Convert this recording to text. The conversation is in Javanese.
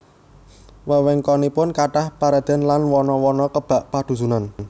Wewengkonipun kathah paredèn lan wana wana kebak padhusunan